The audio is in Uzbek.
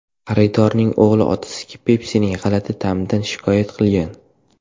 Xaridorning o‘g‘li otasiga Pepsi’ning g‘alati ta’midan shikoyat qilgan.